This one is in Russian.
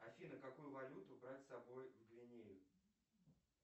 афина какую валюту брать с собой в гвинею